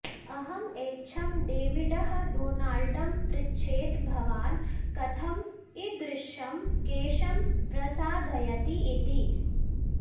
अहं एच्छम् डेविडः डोनाल्डं पृच्छेत् भवान् कथम् इदृशं केशं प्रसाधयति इति